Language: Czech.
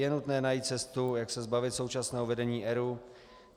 Je nutné najít cestu, jak se zbavit současného vedení ERÚ.